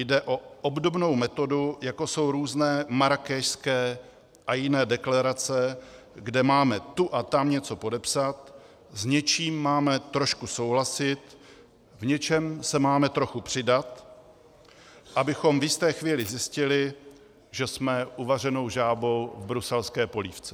Jde o obdobnou metodu, jakou jsou různé marrákešské a jiné deklarace, kde máme tu a tam něco podepsat, s něčím máme trošku souhlasit, v něčem se máme trochu přidat, abychom v jisté chvíli zjistili, že jsme uvařenou žábou v bruselské polévce.